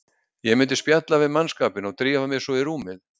Ég myndi spjalla við mannskapinn og drífa mig svo í rúmið.